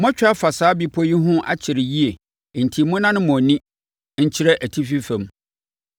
“Moatwa afa saa bepɔ yi ho akyɛre yie enti monnane mo ani nkyerɛ atifi fam.